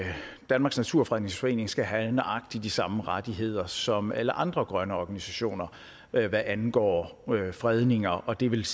danmarks naturfredningsforening skal have nøjagtig de samme rettigheder som alle andre grønne organisationer hvad angår fredninger og det vil